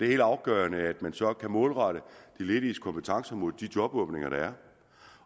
helt afgørende at man så kan målrette de lediges kompetencer mod de jobåbninger der er